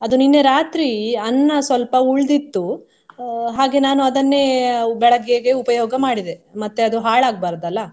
ಅದು ನಿನ್ನೆ ರಾತ್ರಿ ಅನ್ನ ಸ್ವಲ್ಪ ಉಳ್ದಿತ್ತು ಅಹ್ ಹಾಗೆ ನಾನು ಅದನ್ನೇ ಬೆಳಗ್ಗೆಗೆ ಉಪಯೋಗ ಮಾಡಿದೆ ಮತ್ತೆ ಅದು ಹಾಳಾಗ್ಬಾರ್ದಲ್ಲ.